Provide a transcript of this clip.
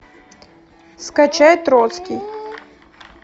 скачай троцкий